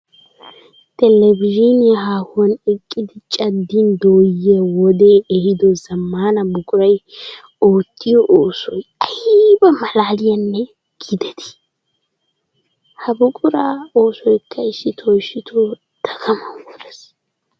Televizhzhinniya haahuwan eqiddi caddin dooyiya wode ehiddo zamaana buquray ootiyo oosoy aybba malalliyanna giidetti! Ha buqura oosoykka issitto issitto dagaman worees!